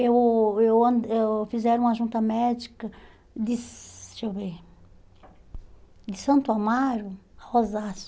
Eu eu an eu fizeram uma junta médica de deixe eu ver, Santo Amaro,